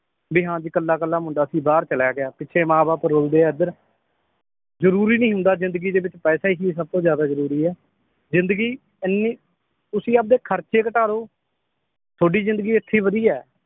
ਵੀ ਹਾਂ ਜੀ ਕੱਲਾ ਕਲਾ ਮੁੰਡਾ ਸੀ ਬਾਹਰ ਚਲਾ ਗਿਆ ਪਿੱਛੋਂ ਮਾਂ ਬਾਪ ਰੋਂਦੇ ਏ ਇੱਧਰ ਜਰੂਰੀ ਨੀ ਹੁੰਦਾ ਜਿੰਦਗੀ ਦੇ ਵਿਚ ਪੈਸੇ ਹੀ ਸਬਤੋਂ ਜ਼ਿਆਦਾ ਜਰੂਰੀ ਏ ਜਿੰਦਗੀ ਇਹਨੀਂ ਤੁਸੀਂ ਆਪਦੇ ਖਰਚੇ ਘਟਾਲੋ ਤੁਹਾਡੀ ਜਿੰਦਗੀ ਇਥੇ ਈ ਵਧੀਆ ਏ